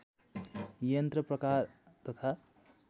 यन्त्र प्रकार तथा